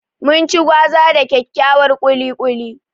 Mun ci gwaza da dakyakkyar ƙuli ƙuli.